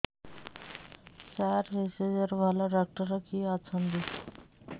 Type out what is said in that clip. ସାର ଭେଷଜର ଭଲ ଡକ୍ଟର କିଏ ଅଛନ୍ତି